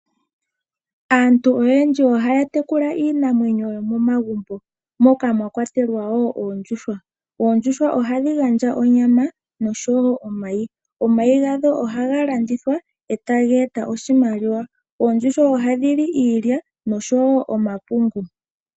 Aantu oyendji ohaya tekula iinamwenyo yomomagumbo moka mwa kwatelwa wo oondjuhwa. Oondjuhwa ohadhi gandja onyama nosho wo omayi. Omayi gadho ohaga landithwa e taga eta oshimaliwa. Oondjuhwa ohadhi li iilya nosho wo omapungu.